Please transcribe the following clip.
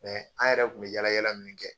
an yɛrɛ kun be yala yala min kɛ